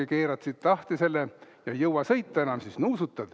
Keerad siit lahti selle ja kui ei jõua sõita enam, siis nuusutad.